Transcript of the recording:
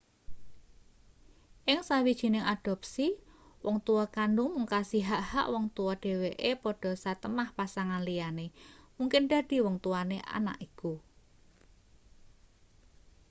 ing sawijining adopsi wong tua kandhung mungkasi hak-hak wong tua dheweke padha satemah pasangan liyane mungkin dadi wong tuane anak iku